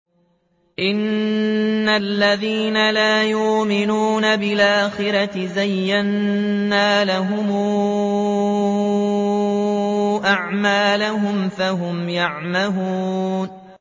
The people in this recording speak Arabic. إِنَّ الَّذِينَ لَا يُؤْمِنُونَ بِالْآخِرَةِ زَيَّنَّا لَهُمْ أَعْمَالَهُمْ فَهُمْ يَعْمَهُونَ